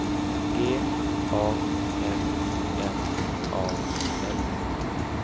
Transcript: G A M M A L